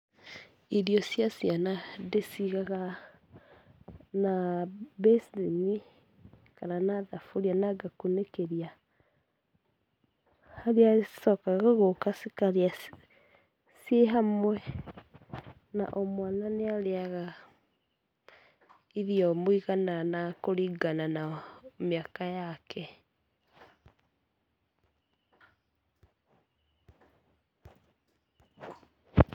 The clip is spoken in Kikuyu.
Irio cia ciana ndĩcigaga na mbeceni kana na thaburia ngakunĩkĩria, harĩa cicokaga gũũka cikarĩa ciĩ hamwe, na o mwana nĩ arĩaga irio mũigana na kũringana na mĩaka yake